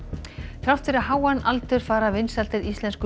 þrátt fyrir háan aldur fara vinsældir íslensku